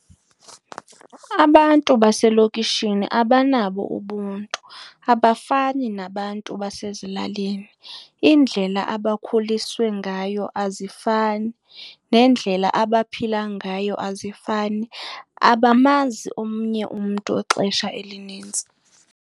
Abantu baselokishini abanabo ubuntu, abafani nabantu basezilalini. Indlela abakhuliswe ngayo azifani, nendlela abaphila ngayo azifani abamazi omnye umntu ixesha elinintsi.